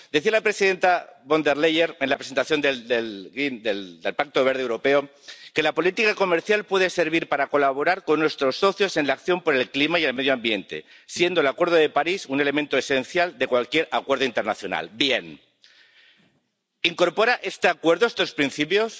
Decía la presidenta von der Leyen en la presentación del Pacto Verde Europeo que la política comercial puede servir para colaborar con nuestros socios en la acción por el clima y el medioambiente, siendo el Acuerdo de París un elemento esencial de cualquier acuerdo internacional. Bien, ¿incorpora este Acuerdo estos principios?